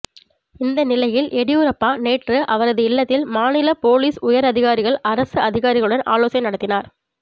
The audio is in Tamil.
இந்த நிலையில் எடியூரப்பா நேற்று அவரது இல்லத்தில் மாநில போலீஸ் உயர் அதிகாரிகள் அரசு அதிகாரிகளுடன் ஆலோசனை நடத்தினார்